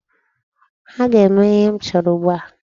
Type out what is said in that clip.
Ha ga-eme ihe m chọrọ ugbu a?